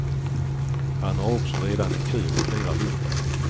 Han har också redan en kö på flera hundra.